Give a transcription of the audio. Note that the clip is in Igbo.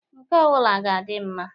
Nke ọ bụla ga adị mma.